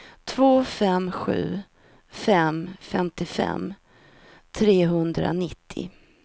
två fem sju fem femtiofem trehundranittio